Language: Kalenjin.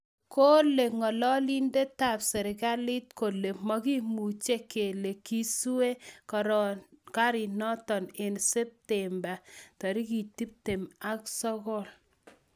Kole ngoloindetap serkalit kole mokimuche kele kiisue garinoton en septemba 29.